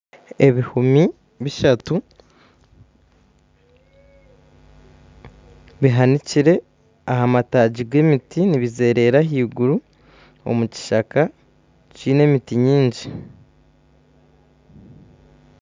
Ebihumi bishatu bihanikire aha mataagi g'emiti nibizerera ahaiguru omu kishaka kiine emiti mingi